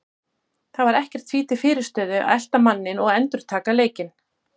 Það var ekkert því til fyrirstöðu að elta manninn og endurtaka leikinn.